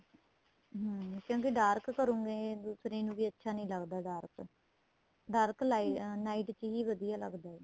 ਹਮ ਕਹਿੰਦੇ dark ਕਰੂਗੇ ਦੂਸਰੇ ਨੂੰ ਵੀ ਅੱਛਾ ਨਹੀਂ ਲੱਗਦਾ dark dark night ਹੀ ਵਧੀਆ ਲੱਗਦਾ ਏ